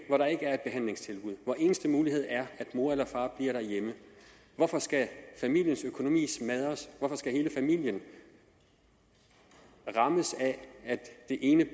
er et behandlingstilbud og hvor den eneste mulighed er at mor eller far bliver derhjemme hvorfor skal familiens økonomi smadres hvorfor skal hele familien rammes af at det ene